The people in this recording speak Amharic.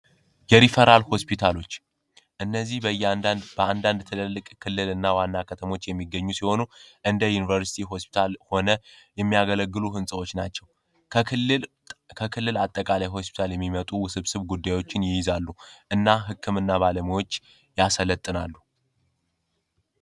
የሪፈራል ሆስፒታሎች እነዚህ በየአንዳንድ ትልልቅ ክልልና ዋና ከተሞች የሚገኙ ሲሆኑ፤ እንደ ዩኒቨርስቲ ሆስፒታል ሆነ የሚያገለግሉ ህንጻዎች ናቸው። ከክልል ከክልል አጠቃላይ ሆስፒታል የሚመጡ ውስብስብ ጉዳዮችን ይይዛሉ እና ህክምና ባለሙያዎች ያሰለጥናሉ።